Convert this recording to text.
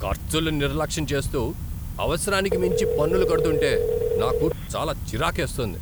ఖర్చులు నిర్లక్ష్యం చేస్తూ, అవసరానికి మించి పన్నులు కడుతుంటే నాకు చాలా చిరాకేస్తోంది.